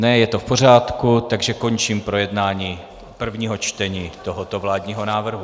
Ne, je to v pořádku, takže končím projednávání prvního čtení tohoto vládního návrhu.